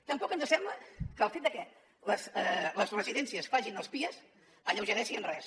tampoc ens sembla que el fet de que les residències facin els pias alleugereixi res